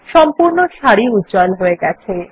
সম্পূর্ণ সারি উজ্জ্বল হয়ে গেছে